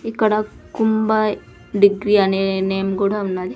ఇక్కడ కుంబాయి డిగ్రీ అనే నేమ్ కూడా ఉన్నది.